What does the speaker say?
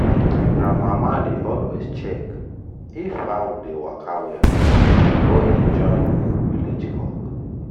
my grandmama dey always check if fowl dey waka well before e join village cock.